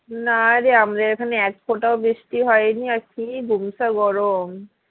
না রে আমাদের এখানে এক ফোঁটাও বৃষ্টি হয়নি আর কি গুমসা গরম